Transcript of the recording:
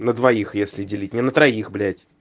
на двоих если делить не на троих блядь